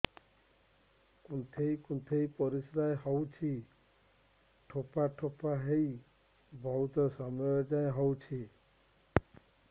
କୁନ୍ଥେଇ କୁନ୍ଥେଇ ପରିଶ୍ରା ହଉଛି ଠୋପା ଠୋପା ହେଇ ବହୁତ ସମୟ ଯାଏ ହଉଛି